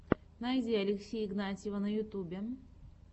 найди алексея игнатьева на ютюбе